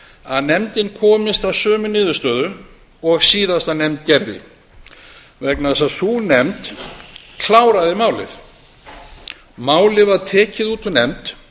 að nefndin komist að sömu niðurstöðu og síðasta nefnd gerði vegna þess að sú nefnd kláraði málið málið var tekið út úr nefnd